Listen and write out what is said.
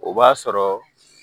O b'a sɔrɔ